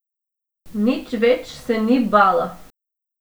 Nič več se ni bala.